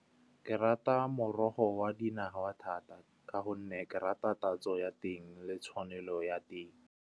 Ke rata morogo wa dinawa thata ka gonne ke rata tatso ya teng le tshwanelo ya teng.